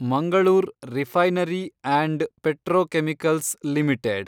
Mangalore refinery and petrochemicals limited